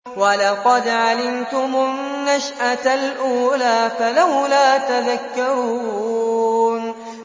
وَلَقَدْ عَلِمْتُمُ النَّشْأَةَ الْأُولَىٰ فَلَوْلَا تَذَكَّرُونَ